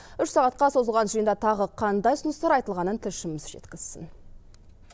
үш сағатқа созылған жиында тағы қандай ұсыныстар айтылғанын тілшіміз жеткізсін